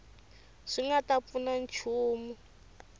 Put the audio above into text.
swi nga ta pfuna nchumu